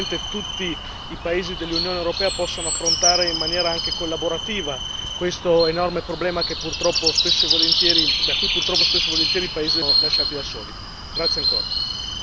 Mi auguro che effettivamente tutti i paesi dell'Unione europea possano affrontare in maniera anche collaborativa questo enorme problema in cui purtroppo spesso e volentieri i paesi del Mediterraneo vengono lasciati da soli.